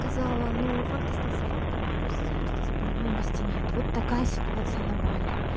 сказала но факт остаётся фактом роста роста заболеваемости нет вот такая ситуация на бали